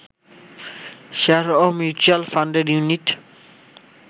share ও mutual ফান্ডের unit